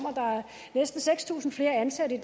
næsten seks tusind flere ansatte i